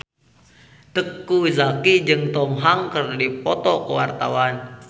Teuku Zacky jeung Tom Hanks keur dipoto ku wartawan